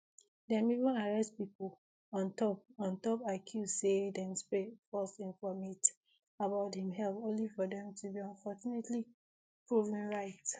dem even arrest pipo on top on top accuse say dem spread false informate about im health only for dem to be fortunately proven right